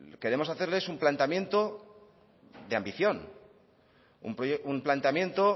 queremos hacerles un planteamiento de ambición un planteamiento